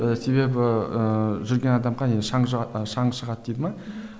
себебі ыыы жүрген адамға шаң шаң шығады дейді ме